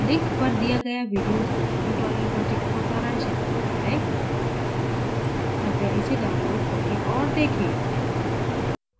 link पर दिया गया video spoken tutorial project को सारांशित करता है कृपया इसे download करें और देखें